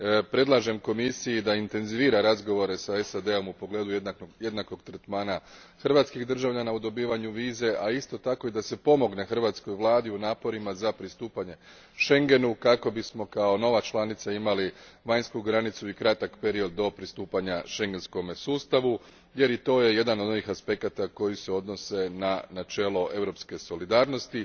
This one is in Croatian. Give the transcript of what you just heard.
Predlažem Komisiji da intenzivira razgovore sa SAD om u pogledu jednakog tretmana hrvatskih državljana u dobivanju vize, a isto tako i da se pomogne Hrvatskoj vladi u naporima za pristupanje Schengenu kako bismo, kao nova članica, imali vanjsku granicu i kratak period do pristupanja šengenskom sustavu jer i to je jedan od onih aspekata koji se odnose na načelo europske solidarnosti.